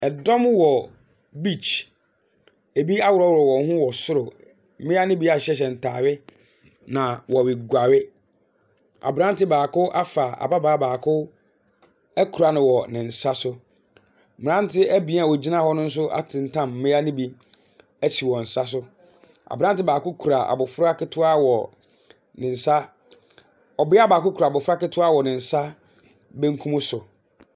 Ɛdɔm wɔ beach. Ebi a hurɔhurɔ wɔn ho wɔ soro. Mmia no bi ahyehyɛ ntaade na wɔreguare. Abranteɛ baako afa ababaa baako ɛkura no wɔ ne nsa so. Mmaranteɛ ebien a ɔgyina hɔ no nso atentam mmia no bi ɛsi wɔn nsa so. Abranteɛ baako kura abofra ketewa wɔ ne nsa. ɔbea baako kura abofra ketewa wɔ ne nsa benkum so.